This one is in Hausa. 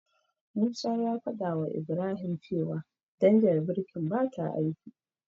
Musa ya fadawa Ibrahim cewa danjar birkin bata aiki.